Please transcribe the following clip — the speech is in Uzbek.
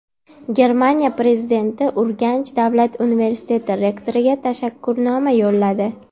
Germaniya prezidenti Urganch davlat universiteti rektoriga tashakkurnoma yo‘lladi.